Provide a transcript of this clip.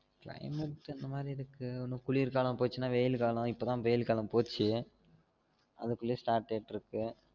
Climate ஸ் அந்த மாதிரி இருக்கு இன்னும் குளிர் காலம் போச்சுனா வெயில் காலம் இப்ப தான் வெயில் காலம் போச்சு அதுக்குள்ள start ஆயிட்டு இருக்கு